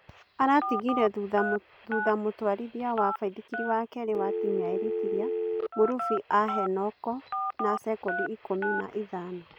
Aratigire thutha mũtwarithia wa baithikiri wa kerĩ wa timu ya Eritiria Mũrũbĩ a Henoko na sekondi ikũmi na ithano